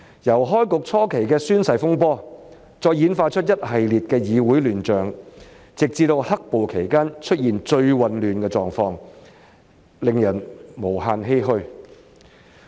由開局初期的宣誓風波，再演化出一系列議會亂象，直至"黑暴"期間出現最混亂的狀況，令人無限欷歔。